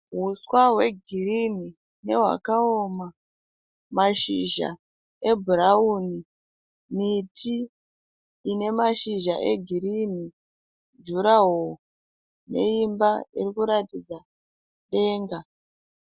Huswa hwegirini nehwakawoma, mashizha ebhurauni, miti ine mashizha egirini, juraho, neimba iri kuratidza denga